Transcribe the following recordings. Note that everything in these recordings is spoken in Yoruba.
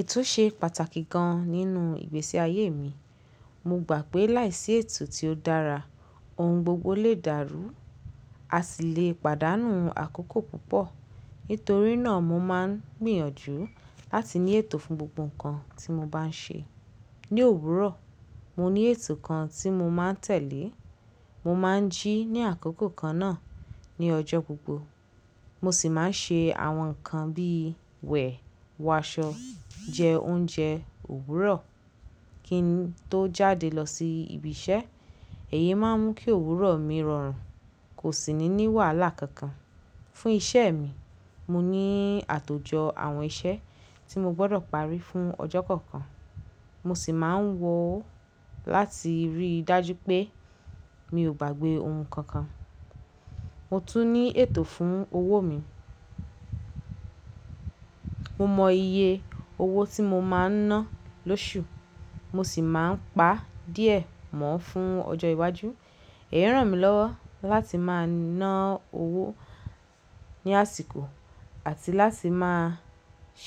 Ètò ṣe pàtàkì gan-an nínú ìgbésí ayé mi. Mo gbà pé láìsí ètò tí ó dára, ohun gbogbo lè dárú. A ṣì le pàdánù àkókò púpọ̀. Nítorí náà mo máa ń gbìyànjú láti ní ètò fún gbogbo nǹkan tí mo bá ń ṣe. Ni òwúrọ̀, mo ní ètò kan tí mo máa ń tẹ̀lé. Mo máa ń jí ní àkókò kan náà ní ọjọ́ gbogbo. Mo sì máa ń ṣe àwọn nǹkan bí wẹ̀, wọ aṣọ, jẹ oúnjẹ, òwúrọ̀ kín tó jáde lọ sí ibi iṣẹ́. Èyí máa ń mú kí òwúrọ̀ mi rọrùn kò sì ní ní wàhálà kankan. Fún iṣẹ́ mi, mo ní àtòjọ àwọn iṣẹ́ tí mo gbọdọ̀ parí fún ọjọ́ kọ̀ọ̀kan. Mo sì máa ń wọ láti rí dájú pé mi ò gbàgbé ohun kankan. Mo tún ní ètò fún owó mi. Mo mọ iye owó tí mo máa ń ná lóṣù. Mo sì máa ń pa díẹ̀ mọ́ ọn fún ọjọ́ iwájú. Èyí ràn mí lọ́wọ́ láti máa ná owó ní àsìkò àti láti máa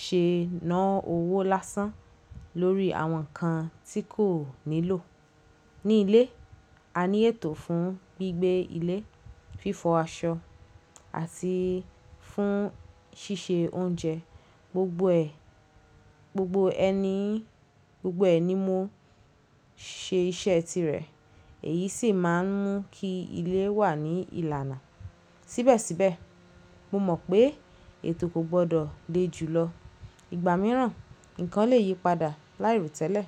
ṣe ná owó lásán lórí àwọn nǹkan tí kò nílò. Ni ilé, a ní ètò fún gbígbé ilé, fífọ aṣọ àti fún ṣíṣe oúnjẹ. Gbogbo ẹ̀, gbogbo ẹni, gbogbo ẹ̀ ní mo ṣe iṣẹ́ tirẹ̀. Èyí sì máa ń mú kí ilé wà ní ìlànà. Síbẹ̀síbẹ̀, mo mọ̀ pé ètò kò gbọdọ̀ le jù lọ. Igba mìíràn, nǹkan lè yípadà láì ro tẹ́lẹ̀.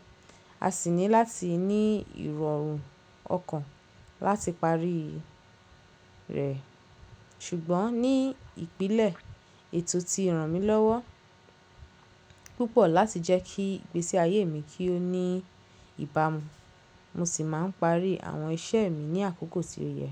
A sì ní láti ní ìrọ̀rùn ọkàn láti parí rẹ̀. Ṣùgbọ́n ní ìpínlẹ̀, ètò ti ràn mí lọ́wọ́ púpọ̀ láti jẹ́ kí ìgbésí ayé mi kí ó ní ìbámu. Mo sì máa ń parí àwọn iṣẹ́ mi ní àkókò tí ó yẹ.